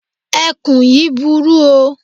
Ẹkùn yíì burú o.